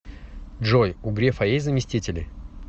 джой у грефа есть заместители